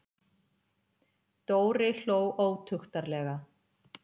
Dóri hló ótuktarlega.